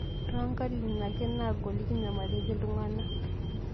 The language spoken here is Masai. Too nkatiti ake naagoli kinyamaliki ltung'ana